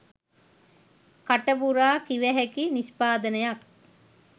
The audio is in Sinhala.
කටපුරා කිවහැකි නිෂ්පාදනයක්